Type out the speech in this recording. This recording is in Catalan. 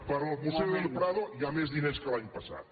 per al museu del prado hi ha més diners que l’any passat